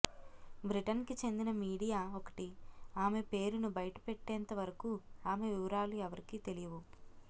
బ్రిటన్కి చెందిన మీడియా ఒకటి ఆమె పేరును బయటపెట్టేంతవరకు ఆమె వివరాలు ఎవరికీ తెలియవు